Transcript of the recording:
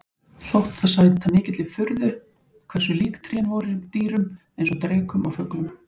Þótti það sæta mikilli furðu hversu lík trén voru dýrum eins og drekum og fuglum.